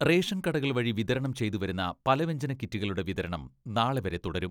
Ration കടകൾ വഴി വിതരണം ചെയ്തുവരുന്ന പലവ്യഞ്ജന കിറ്റുകളുടെ വിതരണം നാളെ വരെ തുടരും.